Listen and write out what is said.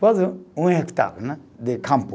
Quase um hectare né, de campo.